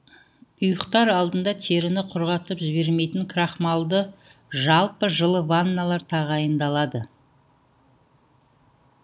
ұйықтар алдында теріні құрғатып жібермейтін крахмалды жалпы жылы ванналар тағайындалады